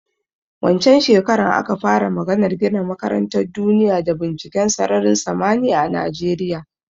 Wancen shekaran aka fara maganar gina makarantan duniya da binciken sararin samaniya a Najeriya